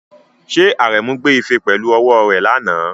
Ṣé Aremu gbé ife pẹ̀lú ọwọ́ rẹ̀ lánàá?